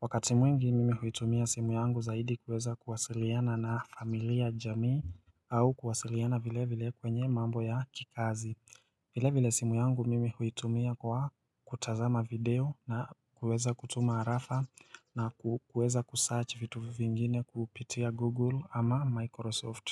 Wakati mwingi mimi huitumia simu yangu zaidi kuweza kuwasiliana na familia jamii au kuwasiliana vilevile kwenye mambo ya kikazi vile vile simu yangu mimi huitumia kwa kutazama video na kuweza kutuma arafa na kuweza kusearch vitu vingine kupitia google ama microsoft.